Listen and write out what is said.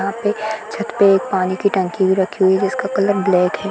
यहाँ पे छत पे एक पानी की टंकी भी रखी हुई है जिसका कलर ब्लैक है।